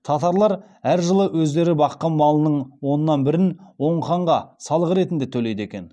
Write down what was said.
татарлар әр жылы өздері баққан малының оннан бірін оң ханға салық ретінде төлейді екен